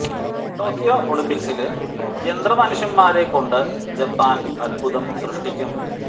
Tokyo ഒളിമ്പിക്സില് യന്ത്ര മനുഷ്യന്മാരെ കൊണ്ട് ജപ്പാന് അത്ഭുതം സ്രഷ്ടിക്കും